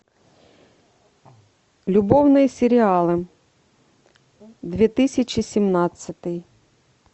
любовные сериалы две тысячи семнадцатый